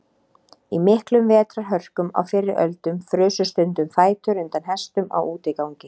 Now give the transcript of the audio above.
Í miklum vetrarhörkum á fyrri öldum frusu stundum fætur undan hestum á útigangi.